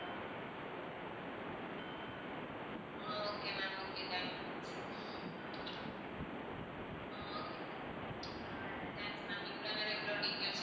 அஹ் okay ma'am okay thanks ah okay ma'am ah thanks ma'am இவ்வளோ நேரம் இவ்வளோ details